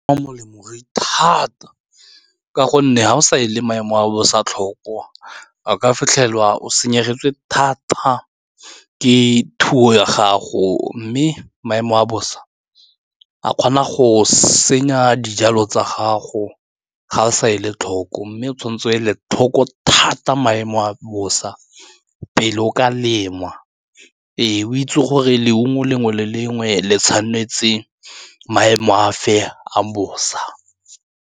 Molemo re a ithata ka gonne ga o sa e le maemo a bosa tlhoko a ka fitlhelwa o senyegelwe thata ke thuo ya gago mme maemo a bosa a kgona go senya dijalo tsa gago ga o sa ele tlhoko mme o tshwanetse o ele tlhoko thata maemo a bosa pele o ka lema o itse gore leungo lengwe le lengwe le tshwanetse maemo afe a bosa.